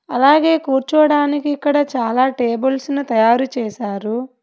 అలాగే కూర్చోడానికి ఇక్కడ చాలా టేబుల్స్ ను తయారు చేశారు.